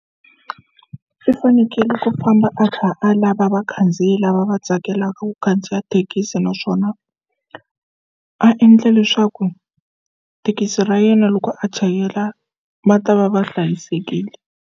I fanekele ku famba a lava vakhandziyi lava va tsakelaka ku khandziya thekisi naswona a endle leswaku thekisi ra yena loko a chayela va ta va va hlayisekile.